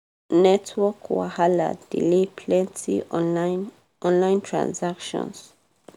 network wahala delay plenty online online transactions.